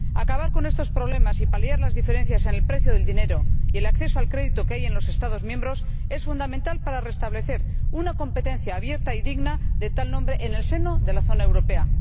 Acabar con estos problemas y paliar las diferencias en el precio del dinero y el acceso al crédito que hay en los Estados miembros es fundamental para restablecer una competencia abierta y digna de tal nombre en el seno de la zona europea.